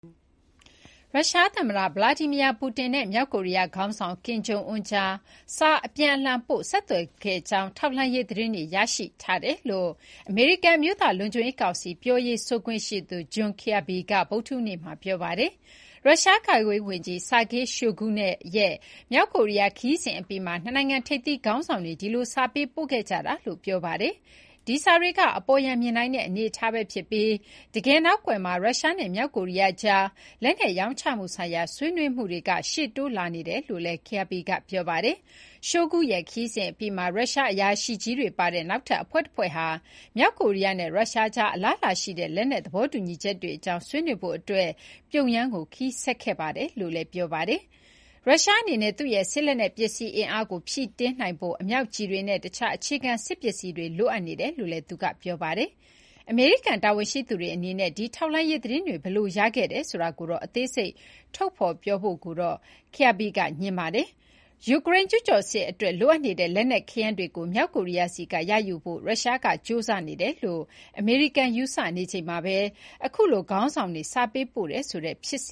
ရုရှားသမ္မတဗလာဒီမီယာပူတင်နဲ့မြောက်ကိုရီးယားခေါင်းဆောင်ကင်ဂျုံအွန်းကြား စာအပြန်အလှန် ပို့ဆက်သွယ်ခဲ့ကြောင်း ထောက်လှမ်းရေး သတင်းတွေရထားတယ်လို့ အမေရိကန် အမျိုးသားလုံခြုံရေးကောင်စီ ပြောရေးဆိုခွင့်ရှိသူ John Kirby က ဗုဒ္ဓဟူးနေ့က ပြောပါတယ်။ ရုရှား ကာကွယ်ရေးဝန်ကြီး Sergei Shoigu ရဲ့ မြောက်ကိုရီးယားခရီးစဥ်အပြီးမှာ နှစ်နိုင်ငံထိပ်သီး ခေါင်းဆောင်တွေ ဒီလို စာပေးပို့ခဲ့ကြတာလို့ ဆိုပါတယ်။ ဒီစာတွေက "အပေါ်ယံမြင်နိုင်တဲ့ အနေအထား" ပဲ ဖြစ်ပြီး တကယ်နောက်ကွယ်မှာ ရုရှားနဲ့ မြောက်ကိုရီးယားကြား လက်နက်ရောင်းချမှုဆိုင်ရာ ဆွေးနွေးမှုတွေက ရှေ့တိုးလာနေတယ်လို့ Kirby က ပြောပါတယ်။ "Shoigu ရဲ့ ခရီးစဉ်အပြီးမှာ ရုရှားအရာရှိကြီးတွေပါတဲ့ နောက်ထပ်အဖွဲ့တဖွဲ့ဟာ မြောက်ကိုရီးယားနဲ့ ရုရှားကြား အလားအလာရှိတဲ့ လက်နက်သဘောတူညီချက်တွေအကြောင်း ဆွေးနွေးဖို့အတွက် ပြုံယမ်းကို ခရီးဆက်ခဲ့ပါတယ်" လို့လည်း ဆိုပါတယ်။ ရုရှားအနေနဲ့ သူ့ရဲ့စစ်လက်နက်ပစ္စည်း အင်အားကိုဖြည့်တင်းနိုင်ဖို့ အမြောက်ကျည်တွေနဲ့ အခြားအခြေခံ စစ်ပစ္စည်းတွေလိုအပ်နေတယ်လို့ Kirby က ပြောပါတယ်။ အမေရိကန်တာဝန်ရှိသူတွေအနေနဲ့ ဒီထောက်လှမ်းရေးသတင်းတွေ ဘယ်လို ရခဲ့ကြောင်းကိုတော့ အသေးစိတ် ထုတ်ဖော် ပြောဖို့ကိုတော့ Kirby က ငြင်းဆိုပါတယ်။ ယူကရိန်းကျူးကျော်စစ်အတွက်လိုအပ်နေတဲ့ လက်နက်ခဲယမ်းတွေကို မြောက်ကိုရီးယားဆီက ရယူဖို့ ရုရှားကကြိုးစားနေတယ်လို့ အမေရိကန်ယူဆနေချိန်မှာပဲ အခုလို ခေါင်းဆောင်တွေ စာပေးပို့တယ်ဆိုတဲ့ဖြစ်စ